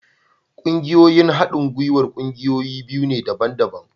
Ƙungiyoyin haɗin gwiwar ƙungiyoyi biyu ne daban-daban